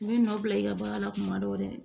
I bɛ nɔ bila i ka baara la kuma dɔ l'i